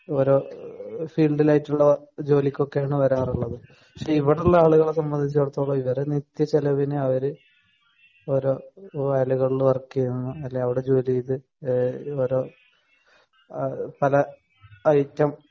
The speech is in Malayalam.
ഓരോ ഫീൽഡിലായിട്ടുള്ള ജോലിക്കൊക്കെയാണ് വരാറുള്ളത്. പക്ഷേ ഇവിടെ ഉള്ള ആളുകളെ സംബന്ധിച്ചിടത്തോളം ഇവരെ നിത്യ ചെലവിന് അവര് ഓരോ വേലകളില് വർക്ക് ചെയ്യുന്നു. അല്ലെങ്കിൽ അവിടെ ജോലി ചെയ്ത് ഓരോ പല ഐറ്റം